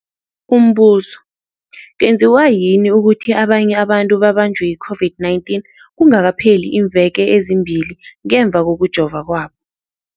Umbuzo, kwenziwa yini ukuthi abanye abantu babanjwe yi-COVID-19 kungakapheli iimveke ezimbili ngemva kokujova kwabo?